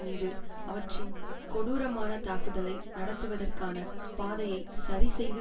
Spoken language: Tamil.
மீது அவற்றின் கொடூரமான தாக்குதலை நடத்துவதற்கான பாதையைச் சரி செய்து